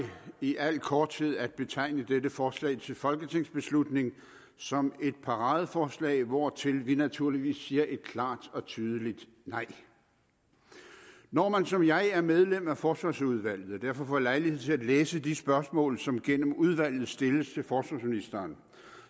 i al korthed at betegne dette forslag til folketingsbeslutning som et paradeforslag hvortil vi naturligvis siger et klart og tydeligt nej når man som jeg er medlem af forsvarsudvalget og derfor får lejlighed til at læse de spørgsmål som gennem udvalget stilles til forsvarsministeren